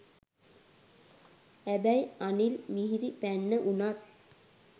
හැබැයි අනිල් මිහිරිපැන්න උනත්